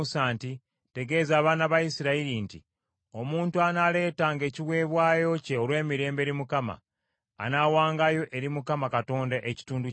“Tegeeza abaana ba Isirayiri nti, Omuntu anaaleetanga ekiweebwayo kye olw’emirembe eri Mukama , anaawangayo eri Mukama Katonda ekitundu kyakyo.